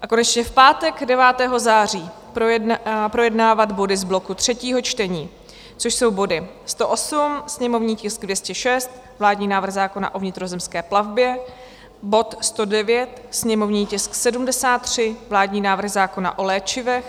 A konečně v pátek 9. září projednávat body z bloku třetí čtení, což jsou body 108, sněmovní tisk 206, vládní návrh zákona o vnitrozemské plavbě; bod 109, sněmovní tisk 73, vládní návrh zákona o léčivech;